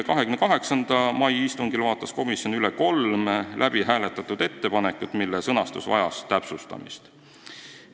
28. mai istungil vaatas komisjon üle kolm läbihääletatud ettepanekut, mille sõnastus vajas täpsustamist.